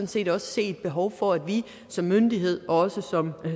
set også se et behov for at vi som myndighed og også